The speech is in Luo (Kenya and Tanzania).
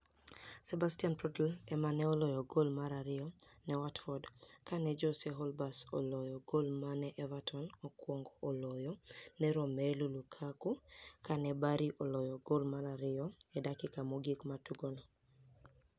Sebastiani Prodl ema ni e oloyo goli mar ariyo ni e Watford ka ni e Jose Holebas oloyo goli ma ni e Evertoni okwonigo oloyo ni e Romelu Lukaku ka ni e Barry oloyo goli mar ariyo e dakika mogik mar tugono.